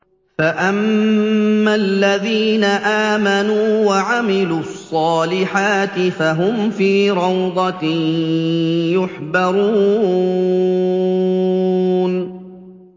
فَأَمَّا الَّذِينَ آمَنُوا وَعَمِلُوا الصَّالِحَاتِ فَهُمْ فِي رَوْضَةٍ يُحْبَرُونَ